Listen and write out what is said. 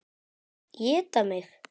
Éta mig.